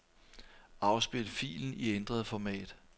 Afspil filen i ændret format.